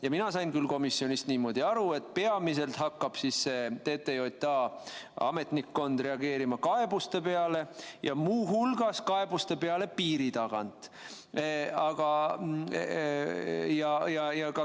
Ja mina sain küll komisjonis niimoodi aru, et peamiselt hakkab TTJA ametnikkond reageerima kaebuste peale, muu hulgas piiri tagant tulevate kaebuste peale.